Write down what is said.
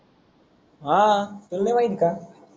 हा तुल नाही माहित का,